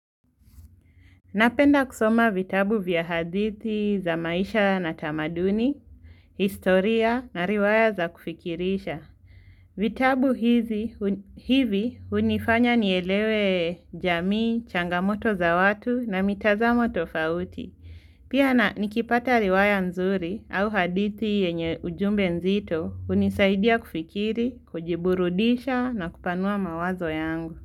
Napenda kusoma vitabu vya hadithi za maisha na tamaduni, historia na riwaya za kufikirisha. Vitabu hivi hunifanya nielewe jamii, changamoto za watu na mitazamo tofauti. Pia na nikipata riwaya nzuri au hadithi yenye ujumbe nzito hunisaidia kufikiri, kujiburudisha na kupanua mawazo yangu.